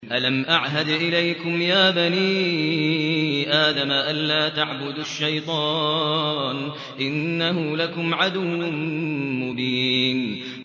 ۞ أَلَمْ أَعْهَدْ إِلَيْكُمْ يَا بَنِي آدَمَ أَن لَّا تَعْبُدُوا الشَّيْطَانَ ۖ إِنَّهُ لَكُمْ عَدُوٌّ مُّبِينٌ